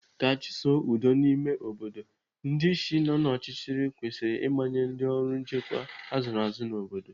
Ka achusoo udo n'ime obodo, ndị isi nọ n'ọchịchị kwesịrị ịmanye ndị ọrụ nchekwa azụrụ azụ n'obodo.